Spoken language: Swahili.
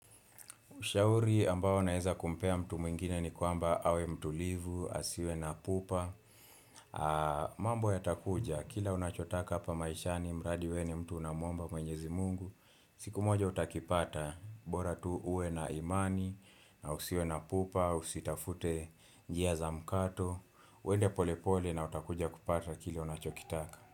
Ushauri ambao naeza kumpea mtu mwingine ni kwamba awe mtulivu, asiwe na pupa, mambo yatakuja, kila unachotaka hapa maishani, mradi we ni mtu unamwomba mwenyezi Mungu, siku moja utakipata, bora tu uwe na imani, na usiwe na pupa, usitafute njia za mkato, uende pole pole na utakuja kupata kila unachokitaka.